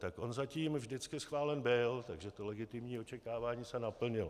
Tak on zatím vždycky schválen byl, takže to legitimní očekávání se naplnilo.